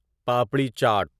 papri chaat papri chaat